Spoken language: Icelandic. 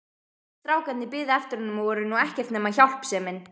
Strákarnir biðu eftir honum og voru nú ekkert nema hjálpsemin.